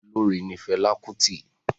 Olórin ni Fẹlá Kútì.